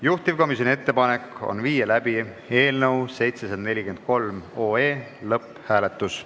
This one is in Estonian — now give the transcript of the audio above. Juhtivkomisjoni ettepanek on viia läbi eelnõu 743 lõpphääletus.